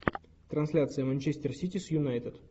трансляция манчестер сити с юнайтед